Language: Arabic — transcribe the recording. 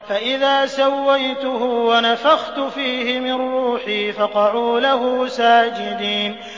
فَإِذَا سَوَّيْتُهُ وَنَفَخْتُ فِيهِ مِن رُّوحِي فَقَعُوا لَهُ سَاجِدِينَ